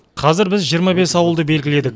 қазір біз жиырма бес ауылды белгіледік